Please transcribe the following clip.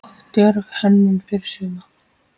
Of djörf hönnun fyrir suma?